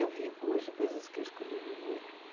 Eu vivo hoje coisas que eu escolhi viver.